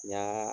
N y'a